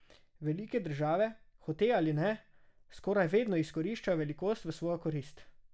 Velike države, hote ali ne, skoraj vedno izkoriščajo velikost v svojo korist.